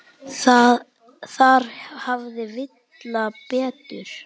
Þar hafði Villa betur.